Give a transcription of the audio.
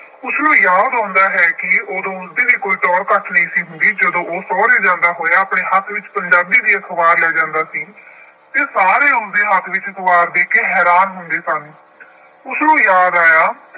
ਉਸਨੂੰ ਯਾਦ ਆਉਂਦਾ ਹੈ ਕਿ ਉਦੋਂ ਉਸਦੀ ਵੀ ਕੋਈ ਟੌਰ ਘੱਟ ਨਹੀਂ ਸੀ ਹੁੰਦੀ। ਜਦੋਂ ਉਹ ਸਹੁਰੇ ਜਾਂਦਾ ਹੋਇਆ ਆਪਣੇ ਹੱਥ ਵਿੱਚ ਪੰਜਾਬੀ ਦੀ ਅਖਬਾਰ ਲੈ ਜਾਂਦਾ ਸੀ ਅਤੇ ਸਾਰੇ ਉਸਦੇ ਹੱਥ ਵਿੱਚ ਅਖਬਾਰ ਦੇਖ ਕੇ ਹੈਰਾਨ ਹੁੰਦੇ ਸਨ। ਉਸਨੂੰ ਯਾਦ ਆਇਆ